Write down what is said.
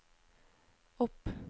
opp